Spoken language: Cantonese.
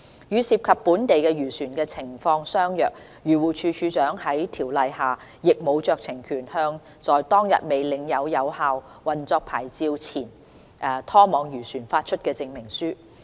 與涉及本地漁船的情況相若，漁護署署長在《條例》下亦無酌情權，向在當日未領有有效運作牌照的前拖網漁船發出證明書。